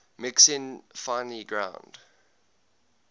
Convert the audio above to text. mixing finely ground